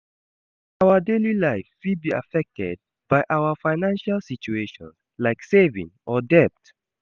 Our daily life fit be affected by our financial situation, like saving or debt.